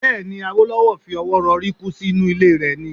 Bẹ́ẹ̀ ni, Awólọ́wọ̀ fi ọwọ́ rọrí kú sí inú ilé rẹ̀ ni.